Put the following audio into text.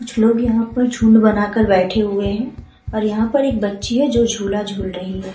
कुछ लोग यहाँ पर झुंड बनाकर बैठे हुए है और यहां पर एक बच्ची है जो झूला झूल रही है।